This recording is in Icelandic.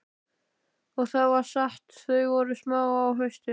Og það var satt, þau voru smá á haustin.